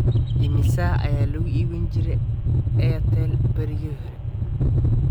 Imisa ayaa lagu iibin jiray airtel barigii hore?